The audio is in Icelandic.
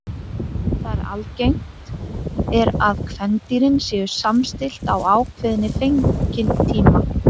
Þar er algengt er að kvendýrin séu samstillt á ákveðinn fengitíma.